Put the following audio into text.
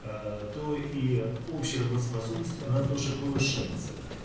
то и общей работоспособности она тоже повышается